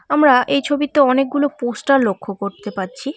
আমরা এই ছবিতে অনেকগুলো পোস্টার লক্ষ করতে পারছি।